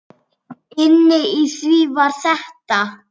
Inni í því var þetta.